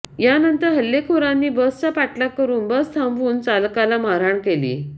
यानंतर हल्लेखोरांनी बसचा पाठलाग करुन बस थांबवून चालकाला मारहाण केली